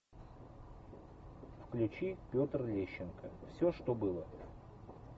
включи петр лещенко все что было